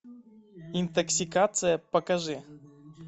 интоксикация покажи